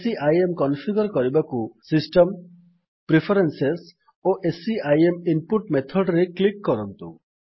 CIM configure କରିବାକୁ system preferences ଓ CIM input method ରେ କ୍ଲିକ୍ କରନ୍ତୁ